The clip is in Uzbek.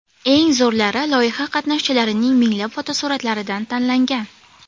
Eng zo‘rlari loyiha qatnashchilarining minglab fotosuratlaridan tanlangan.